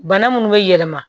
Bana munnu be yɛlɛma